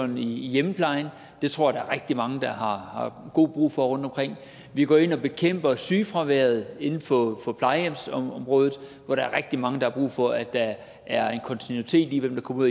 i hjemmeplejen det tror jeg at rigtig mange har god brug for rundtomkring vi går ind og bekæmper sygefraværet inden for for plejehjemsområdet hvor der er rigtig mange der har brug for at der er en kontinuitet i hvem der kommer